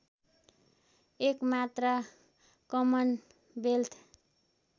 एकमात्र कमनवेल्थ